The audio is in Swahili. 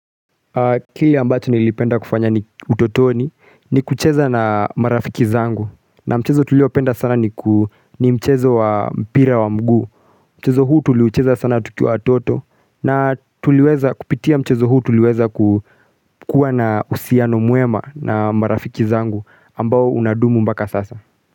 Kilw ambacho nilipenda kufanya ni utotoni ni kucheza na marafiki zangu na mchezo tuliopenda sana ni mchezo wa mpira wa miguu. Mchezo huu tuliucheza sana tukiwa watoto na kupitia mchezo huu tuliweza kuwa na uhusiano mwema na marafiki zangu ambao unadumu mpaka sasa.